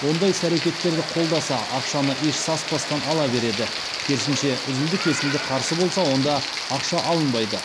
ондай іс әрекеттерді қолдаса ақшаны еш саспастан ала береді керсінше үзілді кесілді қарсы болса онда ақша алынбайды